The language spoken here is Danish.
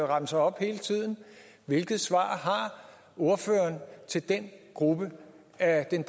remser op hele tiden hvilket svar har ordføreren til den gruppe af den